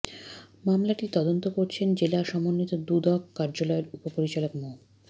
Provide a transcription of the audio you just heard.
মামলাটি তদন্ত করছেন জেলা সমন্ব্বিত দুদক কার্যালয়ের উপপরিচালক মো